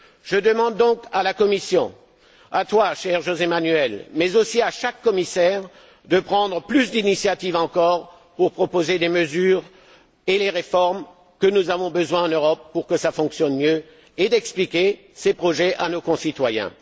Je demande donc à la Commission, à toi, cher José Manuel, mais aussi à chaque commissaire, de prendre encore davantage d'initiatives pour proposer des mesures et les réformes dont nous avons besoin en Europe pour que les choses fonctionnent mieux, et d'expliquer ces projets à nos concitoyens.